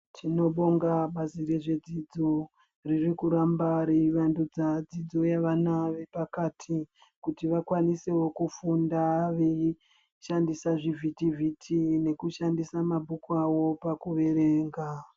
Tinobonga bazi rezvedzidzo riri kuramba reivandudza dzidzo yevana vepakati kuti vakwanisewo kufunda veishandisa zvivhitivhiti nekushandisa mabhuku awo pakuverenga.